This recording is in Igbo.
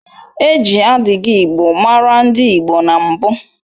E ji adigigbo maara ndị Igbo na mbụ